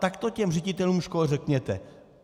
Tak to těm ředitelům škol řekněte!